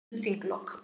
Óvíst um þinglok